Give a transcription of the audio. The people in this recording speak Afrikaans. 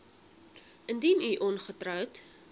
indien u ongetroud